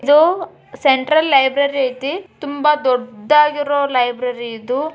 ಇದು central library ಐತಿ ತುಂಬಾ ದೊಡ್ಡಗಿರೋ ಲೈಬ್ರರಿ .